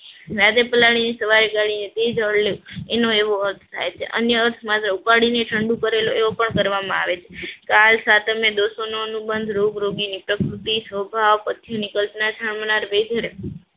રાતે પાલડી ને સવારે ગાડી ને પી જવું એનો એવો અર્થ થાય છે, અન્ય અર્થ માઝ ઉપાડીને ઠંડુ કરેલું એવું પણ કરવા માં આવે છે. કાળ, સાતમ ને દોસોને અનુબંધ રોગ, રોગોની પ્રકૃતિ, સોભ પછીની કલ્પના છામના વેઘર